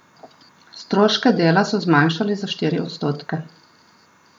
Stroške dela so zmanjšali za štiri odstotke.